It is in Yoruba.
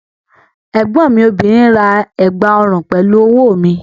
Ẹ̀gbọ́n mi obìnrin ra ẹ̀gbà ọrùn pẹ̀lú owó mi